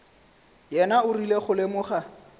yena o rile go lemoga